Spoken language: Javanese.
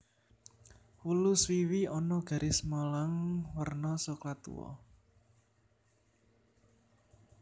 Wlu swiwi ana garis malang werna soklat tuwa